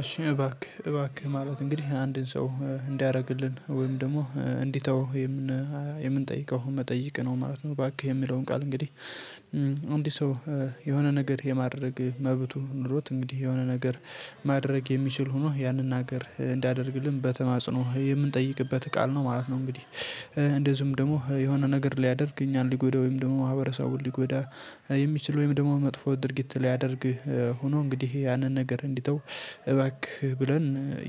እሺ እባክህ እባክህ ማለት እንግዲህ አንድን ሰው እንዲያደርግልን ወይም ደግሞ እንዲተው የምንጠይቀው መጠይቅ ነው ማለት ነው። ባክህ የሚለውን ቃል እንግዲህ አንድ ሰው የሆነ ነገር የማድረግ መብቱ ኖሮት እንግዲህ የሆነ ነገር ማድረግ የሚችል ሆኖ ያንን ነገር እንዳደርግልን በተማጽኖ የምንጠይቅበት ቃል ነው ማለት ነው። እንግዲህ እንደዚሁም ደግሞ የሆነ ነገር ሊያደርግ እኛን ሊጎዳ ወይም ደግሞ ማህበረሰቡን ሊጎዳ የሚችል ወይም ደግሞ መጥፎ ድርጊት ሊያደርግ ሆኖ እንግዲህ ያንን ነገር እንዲተው እባክህ ብለን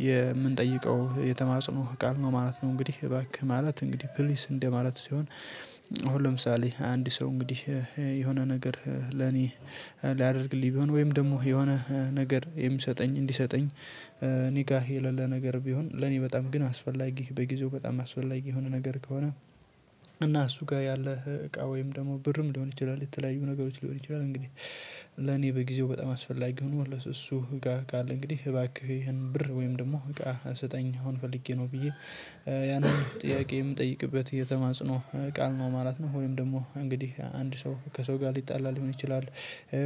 የምንጠይቀው የተማጽኖ ቃል ነው ማለት ነው። እንግዲህ እባክህ ማለት እንግዲህ ፕሊስ እንደ ማለት ሲሆን። አሁን ለምሳሌ አንድ ሰው እንግዲህ የሆነ ነገር ለኔ ሊያደርግልኝ ቢሆን ወይም ደግሞ የሆነ ነገር የሚሰጠኝ እንዲሰጠኝ እኔ ጋር የሌለ ነገር ቢሆን ለኔ በጣም ግን አስፈላጊ በጊዜው በጣም አስወላጊ የሆነ ነገር ከሆነ። እና እሱ ጋር ያለህ እቃ ወይም ደግሞ ብርም ሊሆን ይችላል የተለያዩ ነገሮች ሊሆን ይችላል። እንግዲህ ለኔ በጊዜው በጣም አስፈላጊ ሆኖ እሱ ጋር ካለ እንግዲህ እባክህ ይሄን ብር ወይም ደግሞ እቃ ስጠኝ አሁን ፈልጌ ነው ብዬ ያንን ጥያቄ የምጠይቅበት የተማጽኖ ቃል ነው ማለት ነው። ወይም ደግሞ እንግዲህ አንድ ሰው ከሰው ጋር ሊጣላ ሊሆን ይችላል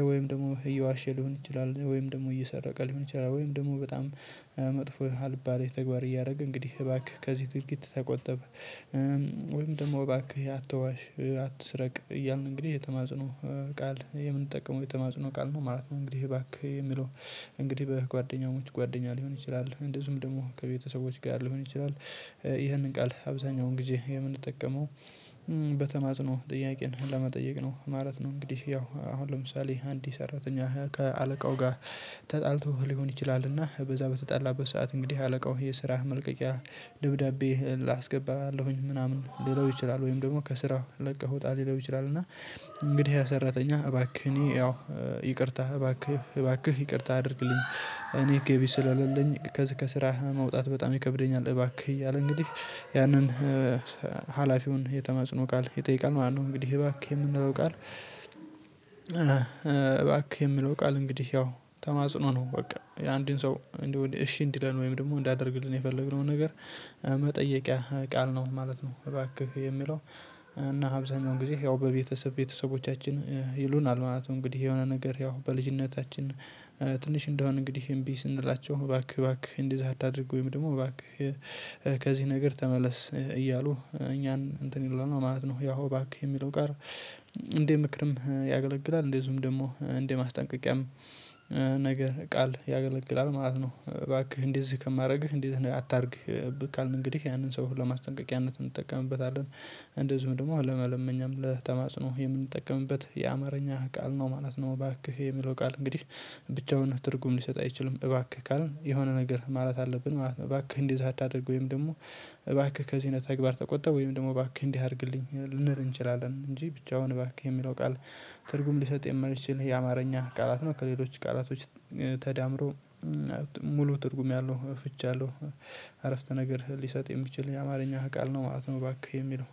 ወይም ደግሞ እየዋሸ ሊሆን ይችላል ወይም ደግሞ እየሰረቀ ሊሆን ይችላል ወይም ደግሞ በጣም መጥፎ አልባሌ ተግባር እያደረገ እንግዲህ እባክህ ከዚህ ትርጊት ተቆጠበ። ወይም ደግሞ እባክህ አትዋሽ አትስረቅ እያልን እንግዲህ የተማጽኖ ቃል የምንጠቀመው የተማፅኖ ቃል ነው ማለት ነው። እንግዲህ እባክህ የሚለው እንግዲህ በጓደኛሞች ጓደኛ ሊሆን ይችላል እንደዚሁም ደግሞ ከቤተሰቦች ጋር ሊሆን ይችላል። ይህንን ቃል አብዛኛውን ጊዜ የምንጠቀመው በተማጽኖ ጥያቄን ለመጠየቅ ነው ማለት ነው። እንግዲህ ያው አሁን ለምሳሌ አንድ ሰራተኛ ከአለቃው ጋር ተጣልቶ ሊሆን ይችላል እና በዛ በተጣላበት ሰዓት እንግዲህ አለቃው የስራህ መልቀቂያ ደብዳቤ አስገባለሁኝ ምናምን ሊለው ይችላል ወይም ደግሞ ከስራው ለቀህ ውጣ ሊለው ይችላል። እና እንግዲህ ያ ሰራተኛ እባክህ እኔ ያው ይቅርታ እባክህ እባክህ ይቅርታ አድርግልኝ እኔ ገቢ ስለልልኝ ከስራህ መውጣት በጣም ይከብደኛል እባክህ እያለ እንግዲህ ያንን ሀላፊውን የተማጽኖ ቃል ይጠይቃል ማለት ነው። እንግዲህ እባክህ የምንለው ቃል እባክህ የምንለው ቃል እንግዲህ ያው ተማጽኖ ነው። በቃ አንዱን ሰው እንዲሁ እሺ እንዲለን ወይም ደግሞ እንዲያደርግልን የፈለግነው ነገር መጠየቂያ ቃል ነው ማለት ነው። እባክህ የሚለው እና አብዛኛው ጊዜ ያው በቤተሰብ ቤተሰቦቻችን ይሉናል ማለት ነው። እንግዲህ የሆነ ነገር ያው በልጅነታችን ትንሽ እንደሆን እንግዲህ እምቢ ስንላቸው እባክህ እባክህ እንደዛ አታድርግ ወይም ደግሞ እባክህ ከዚህ ነገር ተመለስ እያሉ እኛን እንትን ይሉናል ማለት ነው። ያው ባክህ የሚለው ጋር እንደ ምክርም ያገለግላል እንደዚሁም ደግሞ እንደ ማስጠንቀቂያም ነገር ቃል ያገለግላል ማለት ነው። እባክህ እንዲህ ከማድረግህ እንዲህ አታድርግ ብቃል እንግዲህ ያንን ሰው ለማስጠንቀቂያነት እንጠቀምበታለን። እንደዚሁም ደግሞ ለመለመኛም ለተማጽኖ የምንጠቀምበት የአማርኛ ቃል ነው ማለት ነው። እባክህ የሚለው ቃል እንግዲህ ብቻውን ትርጉም ሊሰጥ አይችልም እባክህ ካልን የሆነ ነገር ማለት አለብን ማለት ነው። እባክህ እንዲህ አታደርግ ወይም ደግሞ እባክህ ከዚህ አይነት ተግባር ተቆጠብ ወይም ደግሞ ባክህ እንዲህ አድርግልኝ ልንል እንችላለን። እንጂ ብቻውን እባክህ የሚለው ቃል ትርጉም ሊሰጥ የማይችል የአማርኛ ቃላት ነው። ከሌሎች ቃላቶች ተዳምሮ ሙሉ ትርጉም ያለው ፍቺ አለው። አረፍተ ነገር ሊሰጥ የሚችል የአማርኛ ቃል ነው ማለት ነው። እባክህ የሚለው